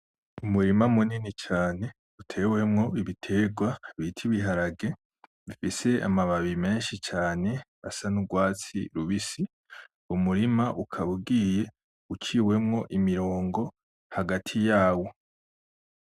Umurima munini cane utewemwo ibiterwa bita ibiharage bifise amababi menshi cane asa n'urwatsi rubisi, umurima ukaba ugiye uciwemwo imirongo hagati yawo.